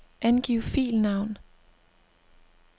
Angiv filnavn.